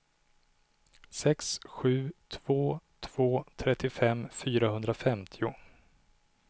sex sju två två trettiofem fyrahundrafemtio